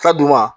Ka d'u ma